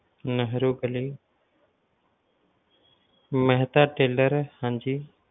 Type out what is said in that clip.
ਨਹਿਰੂ ਗਲੀ ਮਹਿਤਾ Tailor ਹਾਂਜੀ